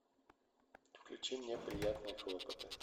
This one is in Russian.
включи мне приятные хлопоты